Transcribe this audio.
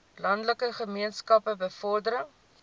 landelike gemeenskappe bevordering